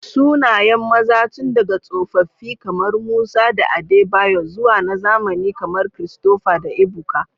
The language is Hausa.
Sunayen maza tun daga tsofaffi kamar Musa da Adebayor zuwa na zamani kamar Christopher da Ebuka.